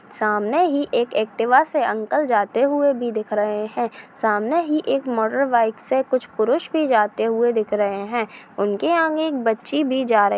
सामने एक एक्टिवा से अंकल जाते हुए भी दिख रहे है सामने ही एक मोटर बाइक से कुछ पुरुष भी जाते हुए दिख रहे है उनके आगे एक बच्ची भी जा रही--